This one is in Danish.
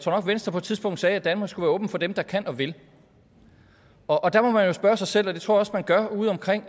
venstre på et tidspunkt sagde at danmark skulle være åbent for dem der kan og vil og der må man jo spørge sig selv og det tror jeg også man gør udeomkring